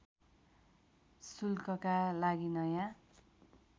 शुल्कका लागि नयाँ